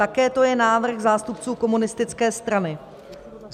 Také to je návrh zástupců komunistické strany."